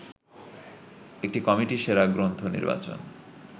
একটি কমিটি সেরা গ্রন্থ নির্বাচন